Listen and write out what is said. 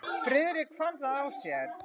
Friðrik fann það á sér.